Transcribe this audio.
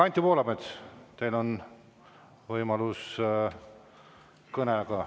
Anti Poolamets, teil on võimalus kõneleda.